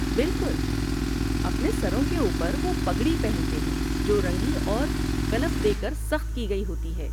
بالکل! اپنے سروں کے اوپر، وہ پگڑی پہنتے ہیں جو رنگی اور کلف دے کر سخت کی گئی ہوتی ہے۔